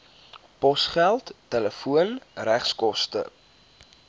posgeld telefoon regskoste